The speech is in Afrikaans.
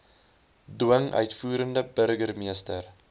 dwing uitvoerende burgermeester